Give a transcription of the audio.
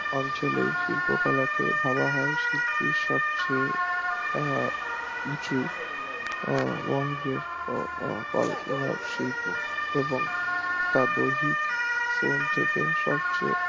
অঞ্চলের শিল্প কলাকে ধরা হয় শিল্পের সব চেয়ে আহ নিচু শিল্প এবং তার দৈহিক মন থাকে স্বচ্ছ